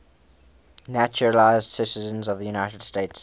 naturalized citizens of the united states